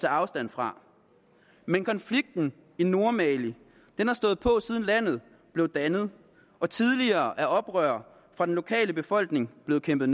afstand fra men konflikten i nordmali har stået på siden landet blev dannet og tidligere er oprørere fra den lokale befolkning blevet kæmpet